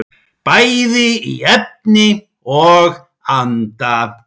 Bæði í efni og anda.